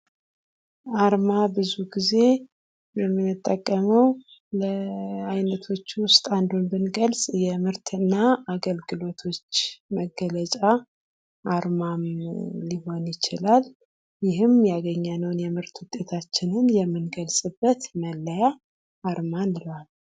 አርማ ብዙ ጊዜ የምንጠቀመው ለዓይነቶች ውስጥ አንዱን ብንገልጽ የምርትና አገልግሎቶች መገለጫ አርማ ሊሆን ይችላል ይህም ያገኘነውን የምርት ውጤታችን የምንገልጽበት መለያ አርማ እንለዋለን ::